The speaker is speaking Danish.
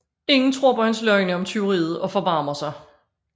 Inger tror på hans løgne om tyveriet og forbarmer sig